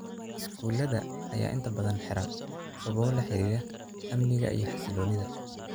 Iskuullada ayaa inta badan xiran sababo la xiriira amniga iyo xasilloonida.